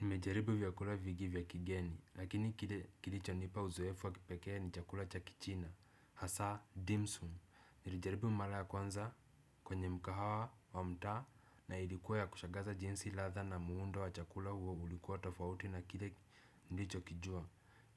Nimejaribu vya kula vigi vya kigeni, lakini kilicho nipa uzoefu wa kipekee ni chakula cha kichina, hasa dimsum. Nilijaribu mala ya kwanza kwenye mkahawa wa mtaa na ilikuwa ya kushagaza jinsi latha na muundo wa chakula huo ulikuwa tofauti na kile nilicho kijua.